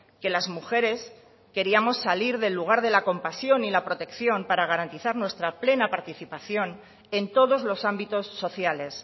que las mujeres queríamos salir del lugar de la compasión y la protección para garantizar nuestra plena participación en todos los ámbitos sociales